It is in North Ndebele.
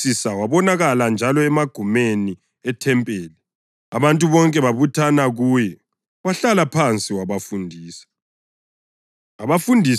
Kwathi kusisa wabonakala njalo emagumeni ethempeli, abantu bonke babuthana kuye, wahlala phansi wabafundisa.